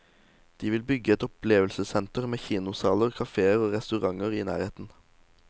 De vil bygge et opplevelsessenter, med kinosaler, kaféer og restauranter i nærheten.